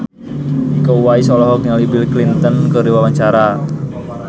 Iko Uwais olohok ningali Bill Clinton keur diwawancara